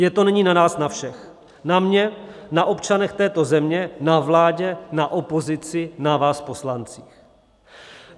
Je to nyní na nás na všech, na mně, na občanech této země, na vládě, na opozici, na vás poslancích.